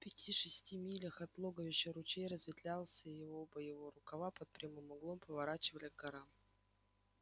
в пяти шести милях от логовища ручей разветвлялся и оба его рукава под прямым углом поворачивали к горам